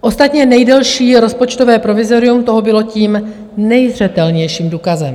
Ostatně nejdelší rozpočtové provizorium toho bylo tím nejzřetelnějším důkazem.